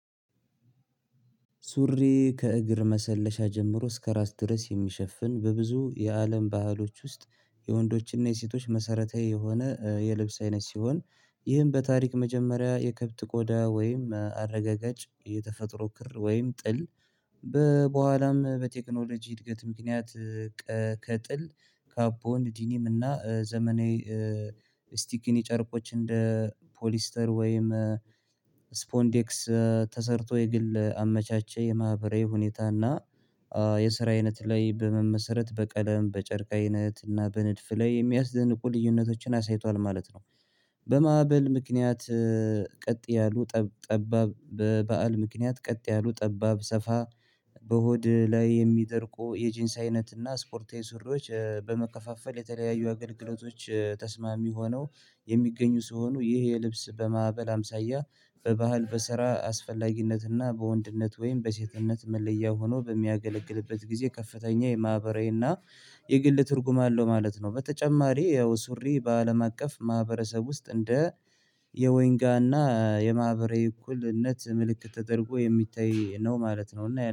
ሱሪ ከእግር መሰለሻ ጀምሮ እስከ ራስ ድረስ የሚሸፍን በብዙ የአለም ባህሎች ውስጥ የወንዶችና የሴቶች መሰረታዊ የሆነ የልብስ አይነት ሲሆን ይህም በታሪክ መጀመሪያ የከብት ቆዳ ወይም አረጋጋጭ የተፈጥሮ ክር ወይም ጥል በኋላም በቴክኖሎጂ እድገት ምክንያት ከጥል ካፖን፣ ንዲኒም እና ዘመናዊ ስቲክኒ ጨርቆች እንደ 'ፖሊስተር' ወይም 'ስፖንዴክስ' ተሰርቶ የግል አመቻቸ። የማህበራዊ ሁኔታና የስራ አይነት ላይ በመመስረት በቀለም በጨርቅ አይነት እና በንድፍ ላይ የሚያስደንቁ ልዩነቶችን አሳይቷል ማለት ነው። በማዕበል ምክንያት ቀጥ ያሉ ጠባብ በበዓል ምክንያት ቀጥ ያሉ ጠባብ ሰፋ በሆድ ላይ የሚደርቁ የጂንስ አይነትና ስፖርታዊ ሱሬዎች በመከፋፈል የተለያዩ አገልግሎቶች ተስማሚ ሆነው የሚገኙ ሲሆኑ። ይሄ የልብስ በማዕበል አምሳያ በባህል በስራ አስፈላጊነትና በወንድነት ወይም በሴትነት መለያ ሆኖ በሚያገለግልበት ጊዜ ከፍተኛ የማህበራዊና የግል ትርጉም አለው ማለት ነው። በተጨማሪ ያው ሱሪ በአለም አቀፍ ማህበረሰብ ውስጥ እንደ የወይንጋና የማህበራዊ እኩልነት ምልክት ተደርጎ የሚታይ ነው ማለት ነው። እና